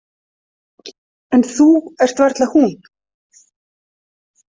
En þú ert varla hún.